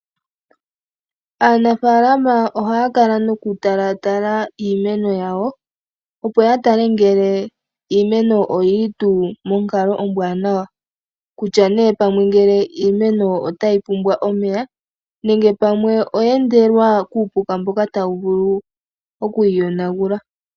Aanafaalama ohaya kala nokutalaatala iimeno yawo. Opo ya tale ngele iimeno oyi li tuu monkalo ombwaanawa. Kutya nee ngele pamwe, iimeno otayi pumbwa omeya, nenge pamwe oye endelwa kuupuka mboka tawu vulu oku yi yonagula.